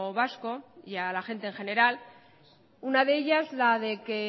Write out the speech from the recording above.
vasco y a la gente en general una de ellas la de que